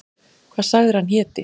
Hvað sagðirðu að hann héti?